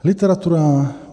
Literatura.